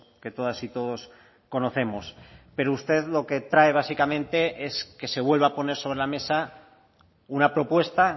que todas y todos conocemos pero usted lo que trae básicamente es que se vuelva a poner sobre la mesa una propuesta